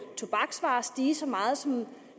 tobaksvarer stige så meget som